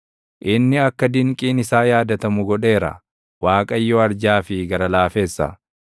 Inni akka dinqiin isaa yaadatamu godheera; Waaqayyo arjaa fi gara laafessa.